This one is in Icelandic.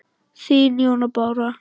Þín, Jóna Bára.